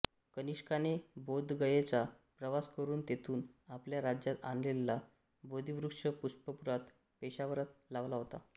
कनिष्काने बोधगयेचा प्रवास करून तेथून आपल्या राज्यात आणलेला बोधीवृक्ष पुष्पपुरात पेशावरात लावला होता